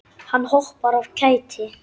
Hann hoppar af kæti.